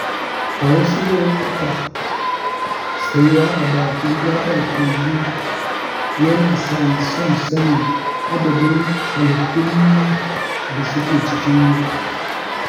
A wasu lokuta, tsayawa a bakin gaɓar kogi yana sani son sanin iya adadin halittun da su ke cikin ruwa.